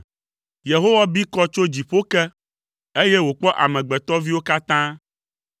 Yehowa bi kɔ tso dziƒo ke, eye wòkpɔ amegbetɔviwo katã.